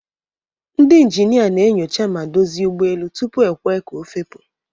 Ndị ịnjịnịa na-enyocha ma dozịe ụgbọ elu tupu ekwee ka ofepu.